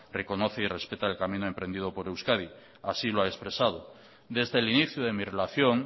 reconoce y respeta el camino emprendido por euskadi así lo ha expresado desde el inicio de mi relación